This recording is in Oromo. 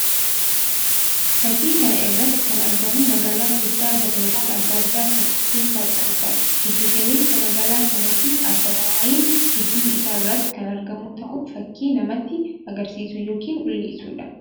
Fakkii kana irratti kan argamu magaalaa guddaa gamoowwan addaa addaa kan of kesssaa qabuudha. Giddu galeessa magaalaa kanaattis addabaabayiin gidduu isaa irratti kan argamuu ta'uu fakkii namatti agarsiisuu yookiin mul'isuu dha.